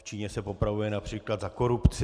V Číně se popravuje například za korupci.